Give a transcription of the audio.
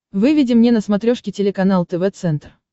выведи мне на смотрешке телеканал тв центр